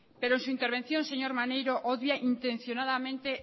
pero su intervención señor maneiro odia intencionadamente